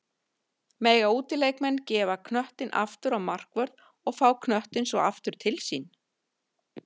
Mega útileikmenn gefa knöttinn aftur á markvörð og fá knöttinn svo aftur til sín?